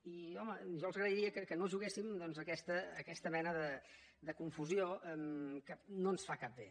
i home jo els agrairia que no juguéssim doncs a aquesta mena de confusió que no ens fa cap bé